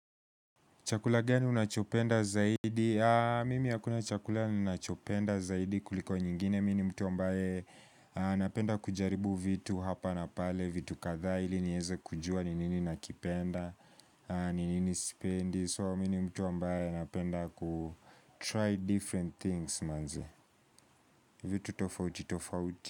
Chakula gani unachopenda zaidi. Mimi hakuna chakula ninachopenda zaidi kuliko nyingine. Mi ni mtu ambaye napenda kujaribu vitu hapa na pale. Vitu kadhaa ili nieze kujua ni nini nakipenda. Ni nini sipendi. So mi ni mtu ambaye napenda kutry different things manze. Vitu tofauti tofauti.